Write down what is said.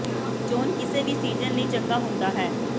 ਇਹ ਚੋਣ ਕਿਸੇ ਵੀ ਸੀਜ਼ਨ ਲਈ ਚੰਗਾ ਹੁੰਦਾ ਹੈ